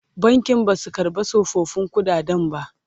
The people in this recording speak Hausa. bankin Basu karɓa tsofaffin ƙuɗaden ba